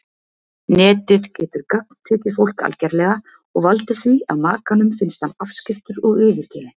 Netið getur gagntekið fólk algerlega og valdið því að makanum finnist hann afskiptur og yfirgefinn.